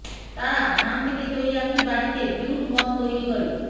তারা ধান থেকে তৈরি একটি বাড়িতে ব্রিউড মদ তৈরি করে